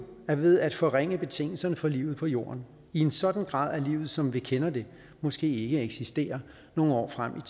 er ved at forringe betingelserne for livet på jorden i en sådan grad at livet som vi kender det måske ikke eksisterer nogle år frem